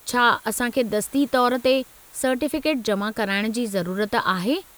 छा असां खे दस्ती तौरु ते सर्टिफ़िकेट जमा कराइणु जी ज़रूरत आहे?